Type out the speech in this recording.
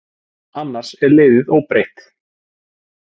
Annars er liðið óbreytt.